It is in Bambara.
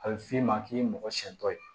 A bɛ f'i ma k'i ye mɔgɔ siyɛn dɔ ye